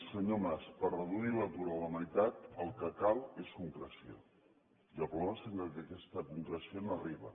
senyor mas per reduir l’atur a la meitat el que cal és concreció i el problema és que aquesta concreció no arriba